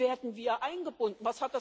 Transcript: Wie werden wir eingebunden?